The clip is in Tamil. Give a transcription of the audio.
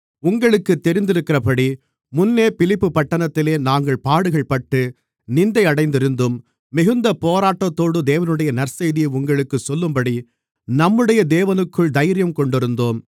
உங்களுக்குத் தெரிந்திருக்கிறபடி முன்னே பிலிப்பிப்பட்டணத்திலே நாங்கள் பாடுகள்பட்டு நிந்தையடைந்திருந்தும் மிகுந்த போராட்டத்தோடு தேவனுடைய நற்செய்தியை உங்களுக்குச் சொல்லும்படி நம்முடைய தேவனுக்குள் தைரியங்கொண்டிருந்தோம்